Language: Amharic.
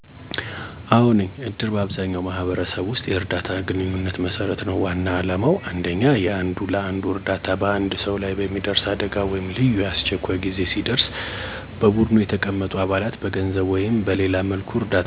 አዎ ነኝ፦ እድር በአብዛኛው ማህበረሰብ ውስጥ የእርዳታና የግንኙነት መሰረት ነው። ዋና ዓላማው 1. የአንዱ ለአንዱ እርዳታ በአንድ ሰው ላይ የሚደርስ አደጋ ወይም ልዩ አስቸኳይ ጊዜ ሲደርስ በቡድኑ የተቀመጡ አባላት በገንዘብ ወይም በሌላ መልኩ እርዳታ እንዲሰጡ ማድረግ ነው። 2. የተዛመዱ ማህበረሰብ ግንኙነት እድር ሰዎችን በአንድነት የሚያዛመድ ነው። አባላቱ በየሳምንቱ ወይም በየወሩ ስብሰባ ሲያደርጉ የማህበረሰብ ግንኙነት ይጠናከራል። 3. የገንዘብ ቁጠባ ባህሪ እድር አባላቱን በቀጣይነት ገንዘብ እንዲያከማቹ ያደርጋል። ይህም የገንዘብ አስተዳደርና ቁጠባ ባህሪ እንዲያገኙ ይረዳቸዋል። በአጠቃላይ ለመረዳዳት ነው የሚመሰረተው።